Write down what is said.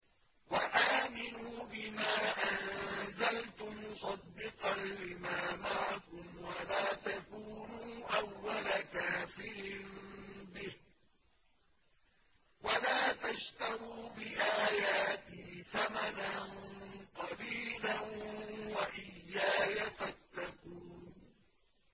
وَآمِنُوا بِمَا أَنزَلْتُ مُصَدِّقًا لِّمَا مَعَكُمْ وَلَا تَكُونُوا أَوَّلَ كَافِرٍ بِهِ ۖ وَلَا تَشْتَرُوا بِآيَاتِي ثَمَنًا قَلِيلًا وَإِيَّايَ فَاتَّقُونِ